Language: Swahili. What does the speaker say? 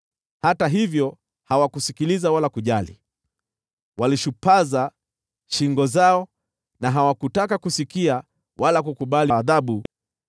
Hata hivyo hawakusikiliza wala kujali, walishupaza shingo zao, na hawakutaka kusikia wala kukubali adhabu.